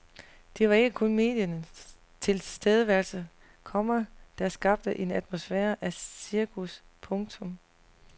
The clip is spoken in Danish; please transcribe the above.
Det var ikke kun mediernes tilstedeværelse, komma der skabte en atmosfære af cirkus. punktum